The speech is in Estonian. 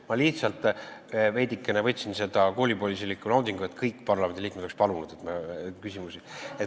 Ma lihtsalt veidikene tundsin koolipoisilikku naudingut, tahtsin, et kõik parlamendiliikmed oleksid palunud, et saaks küsida.